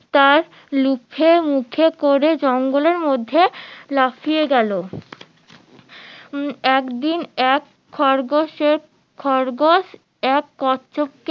তার মুখে করে জঙ্গলে এর মধ্যে লাফিয়ে গেলো একদিন এক খরগোশ এর খরগোশ এক কচ্ছপ কে